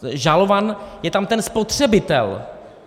Žalován je tam ten spotřebitel.